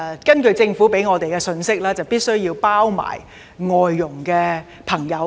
根據政府向我們發出的信息，是次修例必須涵蓋外傭。